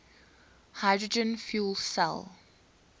hydrogen fuel cell